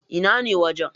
Ina ne wajen?